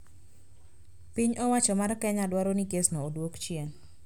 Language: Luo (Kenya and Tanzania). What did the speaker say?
Piny owacho mar Kenya dwaro ni kesno odwok chien